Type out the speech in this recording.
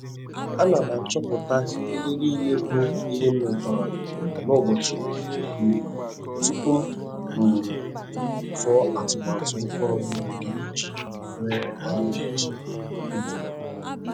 Ana m achọpụta ihe n'ile bụ ihe m retara n'ụbọchi um tupu.m um tụọ atụmatụ ụkpụrụ m ga-eji ree ahịa echi. um